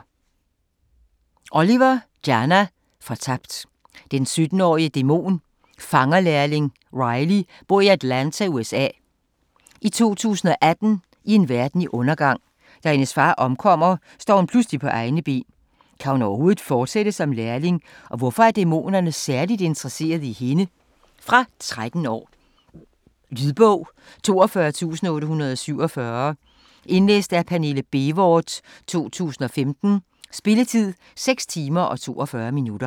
Oliver, Jana: Fortabt Den 17-årige dæmonfangerlærling Riley bor i Atlanta, USA i 2018 i en verden i undergang. Da hendes far omkommer, står hun pludselig på egne ben. Kan hun overhovedet fortsætte som lærling, og hvorfor er dæmonerne særligt interesserede i hende? Fra 13 år. Lydbog 42847 Indlæst af Pernille Bévort, 2015. Spilletid: 6 timer, 42 minutter.